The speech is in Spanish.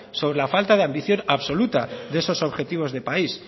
sobre la falta de ambición absoluta de esos objetivos de país